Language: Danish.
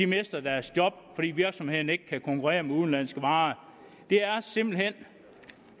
mister deres job fordi virksomhederne ikke kan konkurrere til udenlandske varer det er simpelt hen